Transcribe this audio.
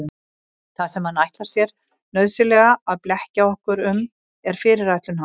Það sem hann ætlar sér nauðsynlega að blekkja okkur um er fyrirætlun hans.